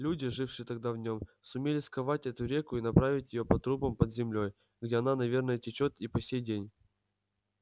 люди жившие тогда в нем сумели сковать эту реку и направить её по трубам под землёй где она наверное течёт и по сей день